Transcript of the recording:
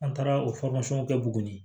An taara o kɛ tuguni